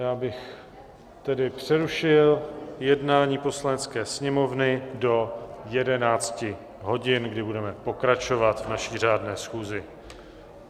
Já bych tedy přerušil jednání Poslanecké sněmovny do 11 hodin, kdy budeme pokračovat v naší řádné schůzi.